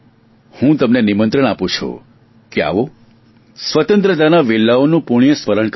હું તમને નિમંત્રણ આપું છું કે આવો સ્વતંત્રતાના વીરલાઓને પુણ્ય સ્મરણ કરીએ